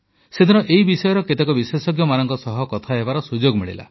ସେଦିନ ଏହି ବିଷୟର କେତେକ ବିଶେଷଜ୍ଞମାନଙ୍କ ସହ କଥା ହେବାର ସୁଯୋଗ ମିଳିଲା